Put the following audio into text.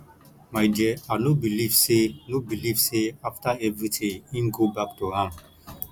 my dear i no believe say no believe say after everything im go back to am